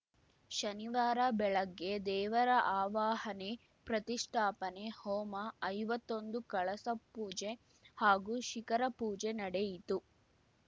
ಶನಿವಾರ ಬೆಳಗ್ಗೆ ದೇವರ ಆವಾಹನೆ ಪ್ರತಿಷ್ಠಾಪನೆ ಹೋಮ ಐವತ್ತೊಂದು ಕಳಸ ಪೂಜೆ ಹಾಗೂ ಶಿಖರ ಪೂಜೆ ನಡೆಯಿತು